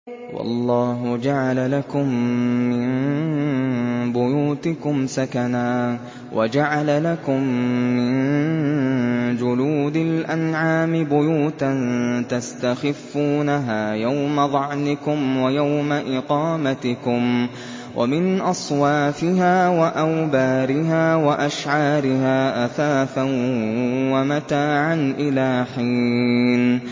وَاللَّهُ جَعَلَ لَكُم مِّن بُيُوتِكُمْ سَكَنًا وَجَعَلَ لَكُم مِّن جُلُودِ الْأَنْعَامِ بُيُوتًا تَسْتَخِفُّونَهَا يَوْمَ ظَعْنِكُمْ وَيَوْمَ إِقَامَتِكُمْ ۙ وَمِنْ أَصْوَافِهَا وَأَوْبَارِهَا وَأَشْعَارِهَا أَثَاثًا وَمَتَاعًا إِلَىٰ حِينٍ